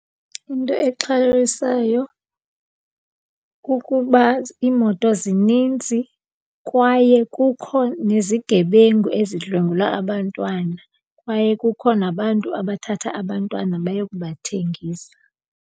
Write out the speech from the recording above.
Into exhalabisayo kukuba iimoto zininzi kwaye kukho nezigebengu ezidlwengula abantwana, kwaye kukho nabantu abathatha abantwana bayokubathengisa.